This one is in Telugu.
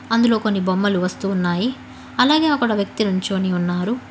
అందులో కొన్ని బొమ్మలు వస్తూ ఉన్నాయి అలాగే అక్కడ వ్యక్తి నించోని ఉన్నారు.